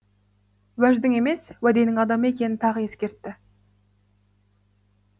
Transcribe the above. уәждің емес уәденің адамы екенін тағы ескертті